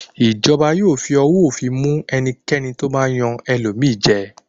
Ìjọba yóò fi owó òfin mú ẹnikẹ́ni tó bá yan ẹlòmíràn jẹ.